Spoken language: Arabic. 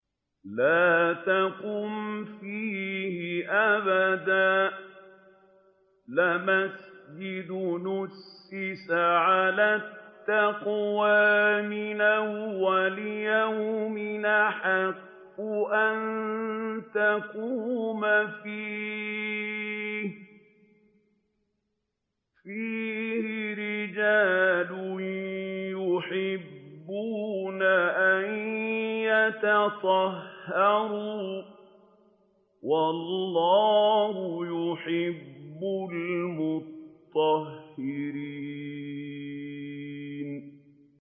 لَا تَقُمْ فِيهِ أَبَدًا ۚ لَّمَسْجِدٌ أُسِّسَ عَلَى التَّقْوَىٰ مِنْ أَوَّلِ يَوْمٍ أَحَقُّ أَن تَقُومَ فِيهِ ۚ فِيهِ رِجَالٌ يُحِبُّونَ أَن يَتَطَهَّرُوا ۚ وَاللَّهُ يُحِبُّ الْمُطَّهِّرِينَ